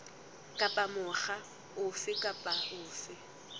kapa mokga ofe kapa ofe